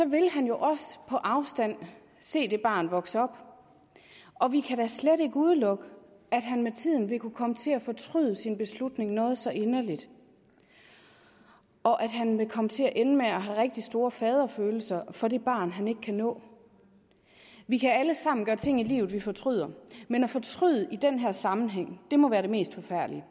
vil han også på afstand se det barn vokse op og vi kan da slet ikke udelukke at han med tiden vil kunne komme til at fortryde sin beslutning noget så inderligt og at han vil komme til at ende med at have rigtig store faderfølelser for det barn han ikke kan nå vi kan alle sammen gøre ting i livet vi fortryder men at fortryde i den her sammenhæng må være det mest forfærdelige